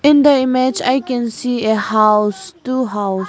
In the image I can see a house two house.